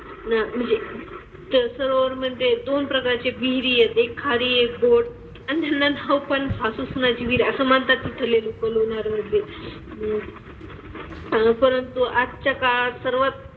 न म्हणजे त्या सरोवरमंदे दोन प्रकारचे विहिरी आहेत. एक खारी एक गोड. अन त्यांना नाव पण सासू-सुनेची विहीर आहे असं म्हणतात तिथले लोकं लोणारमधले. अह परंतु आजच्या काळात सरोवर,